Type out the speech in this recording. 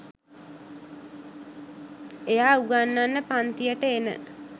එයා උගන්නන්න පංතියට එන